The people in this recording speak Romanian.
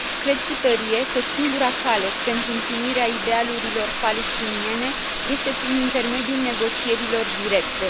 Cred cu tărie că singura cale pentru împlinirea idealurilor palestiniene este prin intermediul negocierilor directe.